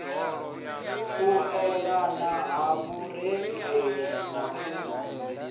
elelana ha vhurereli na u